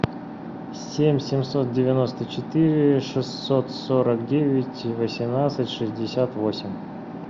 семь семьсот девяносто четыре шестьсот сорок девять восемнадцать шестьдесят восемь